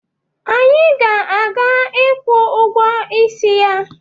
Anyị na-aga ịkwụ ụgwọ isi ya